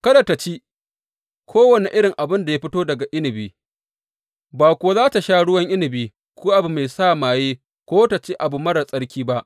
Kada tă ci kowane iri abin da ya fito daga inabi, ba kuwa za tă sha ruwan inabi, ko abu mai sa maye ko ta ci abu marar tsarki ba.